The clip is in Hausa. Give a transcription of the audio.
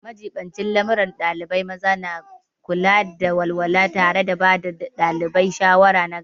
Majibincin lamuran ɗalibai maza na kula da walwala tare da ba ɗalibai shawara nagari.